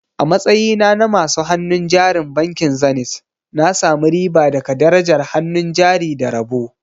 A matsayina na masu hannun jarin bankin Zenith, na sami riba daga darajar hannun jari da rabo.